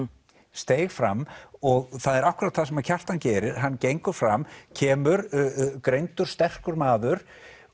steig fram og það er akkúrat það sem Kjartan gerir hann gengur fram kemur greindur sterkur maður